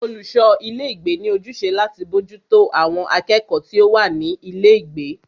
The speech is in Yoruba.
Olùṣọ ilé ìgbé ní ojúṣe láti bójútó àwọn akẹ́kọ̀ọ́ tí o wá ní ilé ìgbé.